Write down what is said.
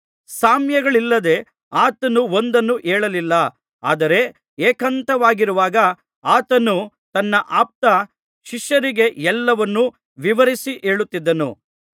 ಸಾಮ್ಯಗಳಿಲ್ಲದೆ ಆತನು ಒಂದನ್ನೂ ಹೇಳಲಿಲ್ಲಾ ಆದರೆ ಏಕಾಂತವಾಗಿರುವಾಗ ಆತನು ತನ್ನ ಆಪ್ತ ಶಿಷ್ಯರಿಗೆ ಎಲ್ಲವನ್ನು ವಿವರಿಸಿ ಹೇಳುತ್ತಿದ್ದನು